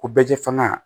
Ko bɛɛ tɛ fanga ye